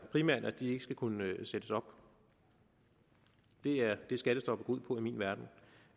primært at de ikke skal kunne sættes op det er det skattestoppet går ud på i min verden